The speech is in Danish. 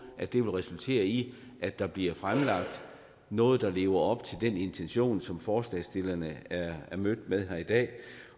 vil resultere i at der bliver fremlagt noget der lever op til den intention som forslagsstillerne er mødt med her i dag